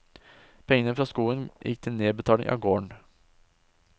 Pengene fra skogen gikk til nedbetaling av gården.